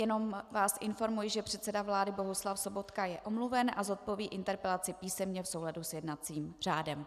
Jenom vás informuji, že předseda vlády Bohuslav Sobotka je omluven a zodpoví interpelace písemně v souladu s jednacím řádem.